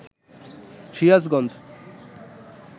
Sirajganj